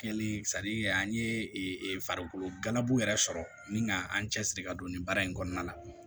Kɛli an ye farikolo ganbu yɛrɛ sɔrɔ ni ka an cɛsiri ka don nin baara in kɔnɔna na